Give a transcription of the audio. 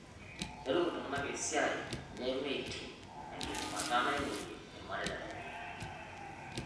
Ketum iltung'ana esiai nemeiting' o ekidimata naing'urie rmareita lenye